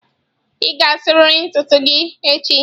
Ị ga-asarịrị ntutu isi gị echi.